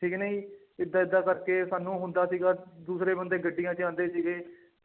ਠੀਕ ਨੀ ਏਦਾਂ ਏਦਾਂ ਕਰਕੇ ਸਾਨੂੰ ਹੁੰਦਾ ਸੀਗਾ ਦੂਸਰੇ ਬੰਦੇ ਗੱਡੀਆਂ ਚ ਆਉਂਦੇ ਸੀਗੇ